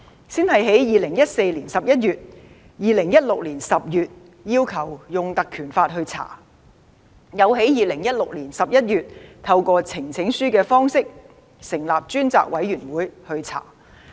先在2014年11月和2016年10月要求引用《立法會條例》進行調查，又在2016年11月透過呈請書的方式，要求成立專責委員會調查有關事宜。